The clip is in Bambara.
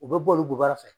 U bɛ bɔ olu goyara fɛ